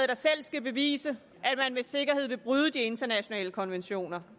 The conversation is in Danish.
der selv skal bevise at man med sikkerhed vil bryde de internationale konventioner